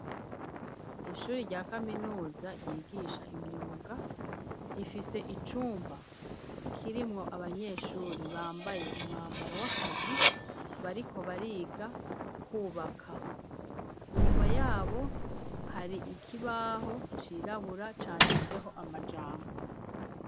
Ishuri rya kaminuza yigisha imyoga rifise icumba kirimwo abanyeshuri bambaye umwambaro w'akazi bariko bariga kwubaka inyuma yabo hari ikibaho cirabura canditseho amajambo.